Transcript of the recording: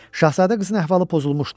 Şahzadə qızın əhvalı pozulmuşdu.